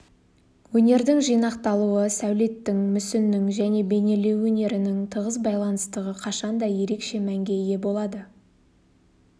өнердің жинақталуы сәулеттің мүсіннің және бейнелеу өнерінің тығыз байланыстығы қашанда ерекше мәнге ие болады